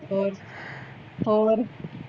ਹੋਰ ਹੋਰ